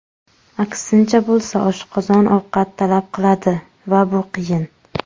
Aksincha bo‘lsa, oshqozon ovqat talab qiladi va bu qiyin.